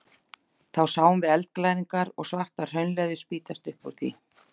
Þá sáum við eldglæringar og svarta hraunleðju spýtast upp úr því.